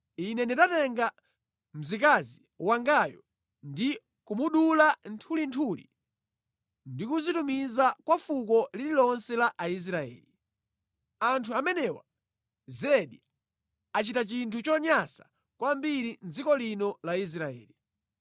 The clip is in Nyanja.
Ine ndinatenga mzikazi wangayo ndi kumudula nthulinthuli ndikuzitumiza kwa fuko lililonse la Aisraeli. Anthu amenewa, zedi achita chinthu chonyansa kwambiri mʼdziko lino la Israeli.